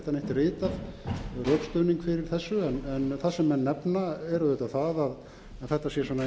ritað rökstuðning fyrir þessu en það sem menn nefna er auðvitað það að þetta sé svona eins og í